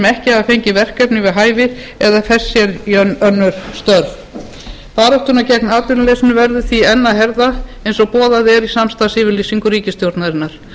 ekki hafa fengið verkefni við hæfi eða fest sér önnur störf baráttuna gegn atvinnuleysinu verður því enn að herða eins og boðað er í samstarfsyfirlýsingu ríkisstjórnarinnar